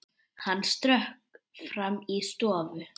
Hann stökk fram í stofu.